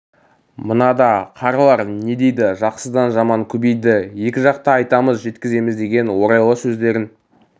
мына да қарлар не дейді жақсыдан жаман көбейді екі жақ та айтамыз жеткіземіз деген орайлы сөздерін